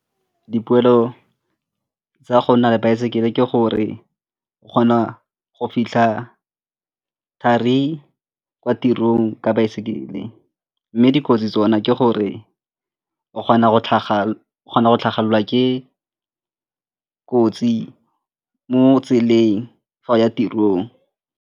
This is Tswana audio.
Dipoelo tsa go nna le baesekele ke gore o kgona go fitlha thari kwa tirong ka baesekele mme dikotsi tsona ke gore o kgona go tlhagelwa ke kotsi mo tseleng fa o ya tirong.